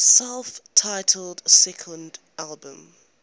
self titled second album